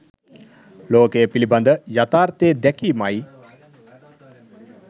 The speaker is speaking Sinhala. ලෝකය පිළිබඳ යථාර්ථය දැකීමයි.